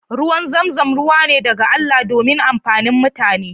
Ruwan zamzam ruwa ne daga Allah domin amfani mutane.